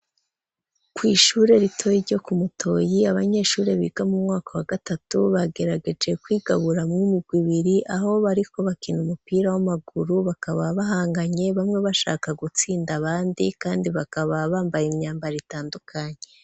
Kw'ishure ritoyi ryo ku mutoyi abanyeshure biga mu mwaka wa gatatu bagerageje kwigabura mw'imigwi ibiri aho ariko bakina umupira w'amaguru bakaba bahanganye bamwe bashaka gutsinda abandi kandi bakaba bambaye imyambaro itandukanye.